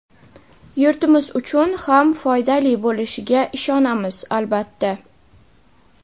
yurtimiz uchun ham foydali bo‘lishiga ishonamiz, albatta.